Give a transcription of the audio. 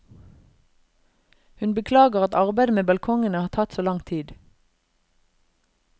Hun beklager at arbeidet med balkongene har tatt så lang tid.